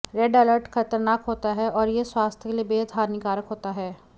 red alert खतरनाक होता है और यह स्वास्थ्य के लिए बेहद हानिकारक होता है